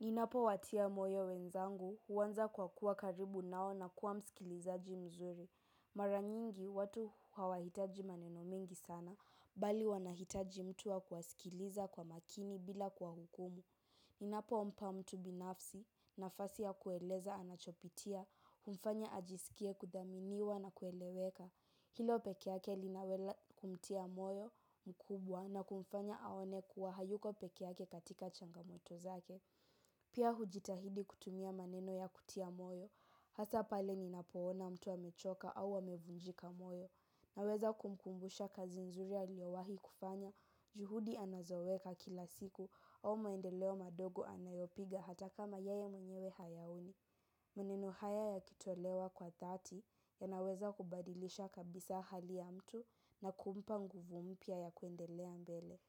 Ninapowatia moyo wenzangu, huanza kwa kuwa karibu nao na kuwa msikilizaji mzuri. Mara nyingi, watu hawahitaji maneno mengi sana, bali wanahitaji mtu wa kuwasikiliza kwa makini bila kuwahukumu. Ninapompa mtu binafsi, nafasi ya kueleza anachopitia, humfanya ajisikie kuthaminiwa na kueleweka. Hilo peke yake linawela kumtia moyo mkubwa na kumfanya aone kuwa hayuko peke yake katika changamoto zake. Pia hujitahidi kutumia maneno ya kutia moyo, hasa pale ninapoona mtu amechoka au amevunjika moyo. Naweza kumkumbusha kazi nzuri aliyowahi kufanya, juhudi anazoweka kila siku au maendeleo madogo anayopiga hata kama yeye mwenyewe hayaoni. Maneno haya yakitolewa kwa dhati yanaweza kubadilisha kabisa hali ya mtu na kumpa nguvu mpya ya kuendelea mbele.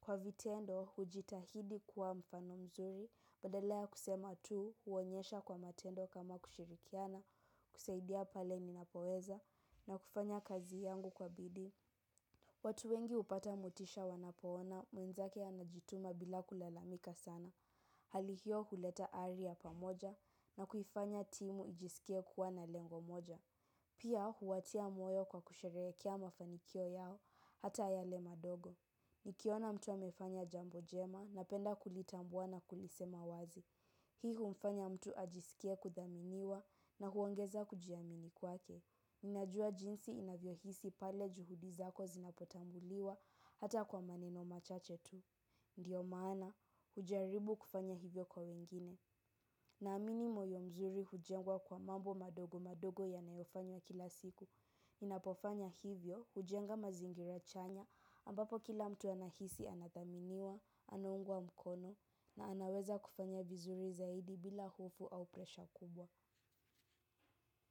Kwa vitendo, hujitahidi kuwa mfano mzuri, badala ya kusema tu, huonyesha kwa matendo kama kushirikiana, kusaidia pale ninapoweza, na kufanya kazi yangu kwa bidii. Watu wengi hupata motisha wanapoona, mwenzake anajituma bila kulalamika sana. Hali hiyo huleta ari ya pamoja, na kuifanya timu ijisikie kuwa na lengo moja. Pia huwatia moyo kwa kusherehekea mafanikio yao, hata yale madogo. Nikiona mtu amefanya jambo jema napenda kulitambua na kulisema wazi. Hii humfanya mtu ajisikie kuthaminiwa na huongeza kujiamini kwake. Najua jinsi inavyohisi pale juhudi zako zinapotambuliwa hata kwa maneno machache tu ndiyo maana hujaribu kufanya hivyo kwa wengine. Naamini moyo mzuri hujengwa kwa mambo madogo madogo yanayofanywa kila siku. Ninapofanya hivyo, hujenga mazingira chanya ambapo kila mtu anahisi anathaminiwa, anaungwa mkono na anaweza kufanya vizuri zaidi bila hofu au presha kubwa.